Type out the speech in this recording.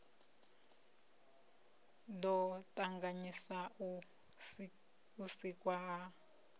ḓo ṱavhanyisa u sikwa ha